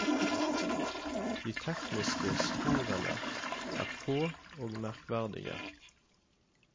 De tekniske sporene er få og merkverdige.